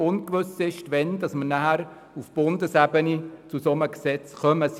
es ist ungewiss, wann auf Bundesebene ein solches Gesetz vorliegen wird.